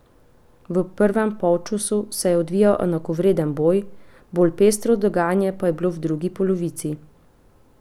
V prvem polčasu se je odvijal enakovreden boj, bolj pestro dogajanje pa je bilo v drugi polovici.